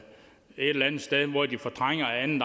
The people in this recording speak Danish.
eller andet sted hvor de fortrænger anden